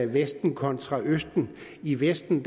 vesten kontra østen i vesten